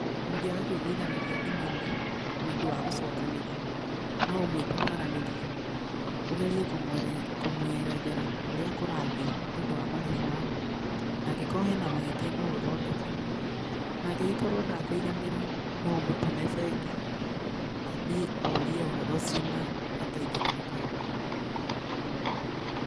Mūngīaga kūiguithanīria thimū-inī nīūndū wa gūcokanīria no ūmwīte mwaranīrie, ūgerie kūmwerethera ūrīa kūrathiī nī ūndū wa marīhi mau na angīkorwo hena mahītia no ūthondeke, na angīgīkorwo ndakuiganīra no ūmūtūme bengi athiī orie ūhoro ucio na ateithīkīre kūu.